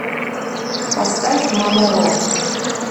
поставь мама ро